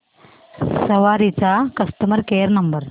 सवारी चा customer care number